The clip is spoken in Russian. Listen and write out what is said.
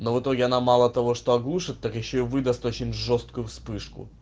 но в итоге она мало того что оглушит так ещё и выдаст очень жёсткую вспышку